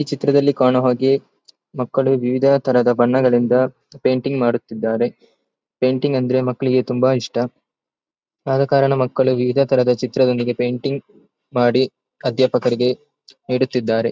ಈ ಚಿತ್ರದಲ್ಲಿ ಕಾಣುವ ಹಾಗೆ ಮಕ್ಕಳು ವಿವಿಧಾತರಹದ ಬಣ್ಣಗಳಿಂದ ಪೇಂಟಿಂಗ್ ಮಾಡುತಿದ್ದರೆ ಪೇಂಟಿಂಗ್ ಅಂದ್ರೆ ಮಕ್ಕಳಿಗೆ ತುಂಬಾ ಇಷ್ಟ ಆದ ಕರಣ ಮಕ್ಕಳು ವಿವಿಧತರಹದ ಚಿತ್ರದೊಂದಿಗೆ ಪೇಂಟಿಂಗ್ ಮಾಡಿ ಅಧ್ಯಾಪಕರಿಗೆ ನೀಡುತ್ತಿದ್ದಾರೆ.